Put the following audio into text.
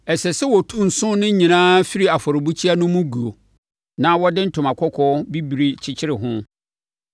“Ɛsɛ sɛ wɔtu nsõ no nyinaa firi afɔrebukyia no mu guo, na wɔde ntoma kɔkɔɔ bibire kyekyere ho.